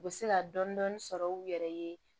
U bɛ se ka dɔni dɔni sɔrɔ u yɛrɛ ye